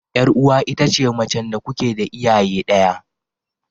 Yar uwa ita ce macen da kuke da iyaye daya.